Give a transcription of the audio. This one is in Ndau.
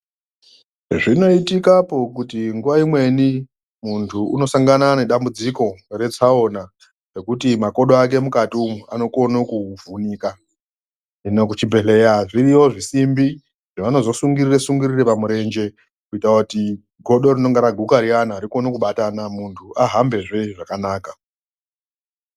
Zvinoitikapo kuti nguva imweni muntu unosangana nedambudziko retsaona rekuti makodo ake mukati umu anokona kuvhunika. Kuchibhedhleya zviriyo zvisimbi zvavanozo sungirire-sungirire pamurenje kuita kuti godo inonga raguka riyana rikone kubatana muntu ahambezve zvakanaka.